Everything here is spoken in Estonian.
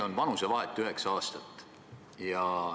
Meie vanusevahe on üheksa aastat.